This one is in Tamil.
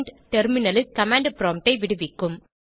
டெர்மினலில் கமாண்ட் ப்ராம்ப்ட் ஐ விடுவிக்கும்